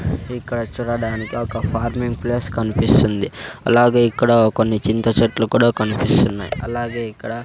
ఇక్కడ చూడడానికి ఒక ఫార్మింగ్ ప్లేస్ కన్పిస్తుంది అలాగే ఇక్కడ కొన్ని చింత చెట్లు కూడా కన్పిస్తున్నాయ్ అలాగే ఇక్కడ--